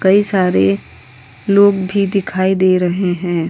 कई सारे लोग भी दिखाई दे रहे हैं।